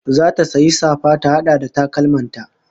Zata sayi safa ta hada da takalman ta